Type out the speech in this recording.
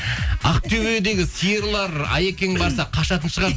ақтөбедегі сиырлар аекең барса қашатын шығар